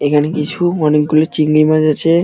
এখানে কিছু অনেকগুলো চিংড়ি মাছ আছে।